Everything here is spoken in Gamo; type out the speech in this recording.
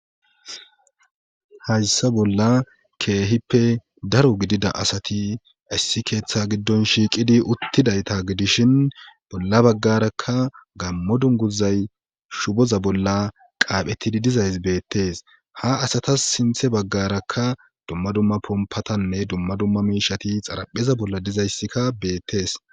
hayssa bolla keehippe daro gidida asati issi keeththa giddon shiiqidi uttidayta gidishin bolla baggarakka gammo dunguzay shuboza bolla qaaphettidi dizays beettees ha asatas sinthe baggarakka dumma dumma pompatanne dumma dumma miishati xarapheza bolla dizayssikka beettees